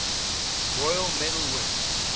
royal medal winners